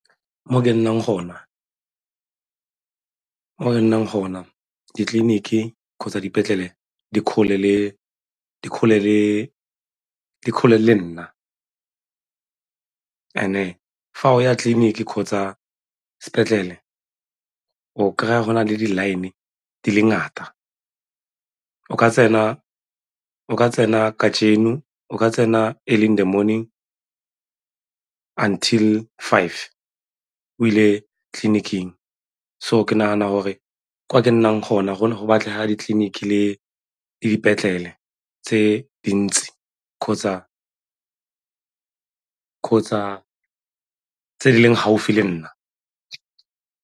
Mo ke nnang gona ditleliniki kgotsa dipetlele di kgole le nna, and-e fa o ya tleliniki kgotsa sepetlele o kry-a go na le di-line di le ngata o ka tsena kajeno, o ka tsena early in the morning until five o ile tleliniking. So, ke nagana gore kwa ke nnang gona gone go batlega ditleliniki le dipetlele tse dintsi kgotsa tse di leng gaufi le nna.